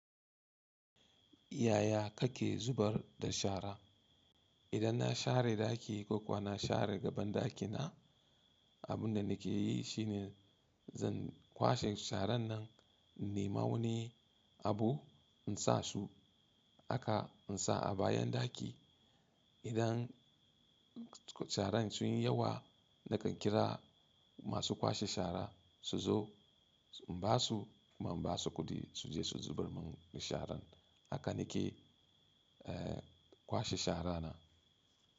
Yaya kake zubar da shara? Idan na share ɗaki ko kuwa na share gaban ɗakina, abin da nake yi shine zan kwashe sharan nan, in nema wani abu in sa su, haka in sa a bayan ɗaki. Idan sharan sun yi yawa, nakan kira masu kwashe shara su zo in ba su kuma in ba su kuɗi su je su zubar mun da sharan. Haka nake kwashe shara na.